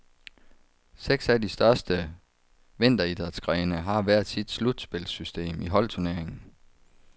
Seks af de største vinteridrætsgrene har hver sit slutspilssystem i holdturneringen.